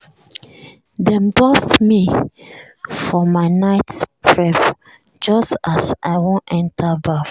dem burst me for my night prep just as i wan enter baff.